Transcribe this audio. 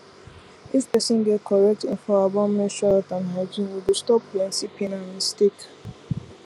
if person get correct info about menstrual health and hygiene e go stop plenty pain and mistake